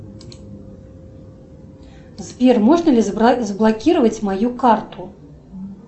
сбер можно ли заблокировать мою карту